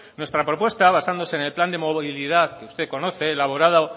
nuestra propuesta basándose en el plan de movilidad que usted conoce elaborada